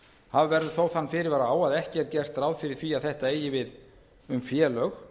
hafa verður þó þann fyrirvara að ekki gert ráð fyrir að þetta eigi við um félög